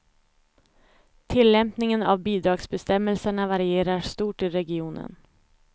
Tillämpningen av bidragsbestämmelserna varierar stort i regionen.